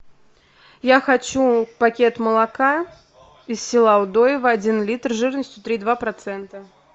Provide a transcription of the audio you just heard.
я хочу пакет молока из села удоева один литр жирностью три и два процента